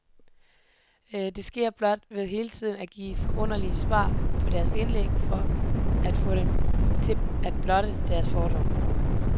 Det sker blot ved hele tiden at give underfundige svar på deres indlæg for at få dem til at blotte deres fordomme.